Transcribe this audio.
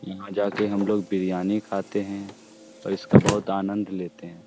यहाँ जा के हम लोग बिरयानी खाते है और इसका बहुत आनद लेते हैं।